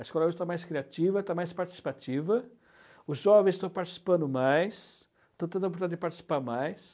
A escola hoje está mais criativa, está mais participativa, os jovens estão participando mais, estão tendo a oportunidade de participar mais.